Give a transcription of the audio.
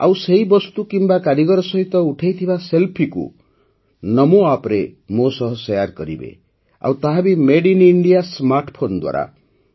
ଆଉ ସେହି ବସ୍ତୁ କିମ୍ବା ସେହି କାରିଗର ସହିତ ଉଠାଇଥିବା ସେଲ୍ଫିକୁ ନମୋ ଆପ୍ରେ ମୋ ସହ ଶେୟାର କରିବେ ଆଉ ତାହା ବି ମେଡ୍ ଇନ୍ ଇଣ୍ଡିଆ ସ୍ମାର୍ଟଫୋନ ଦ୍ୱାରା